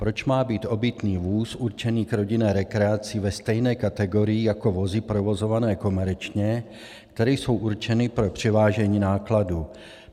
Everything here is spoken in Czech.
Proč má být obytný vůz určený k rodinné rekreaci ve stejné kategorii jako vozy provozované komerčně, které jsou určeny pro převážení nákladu?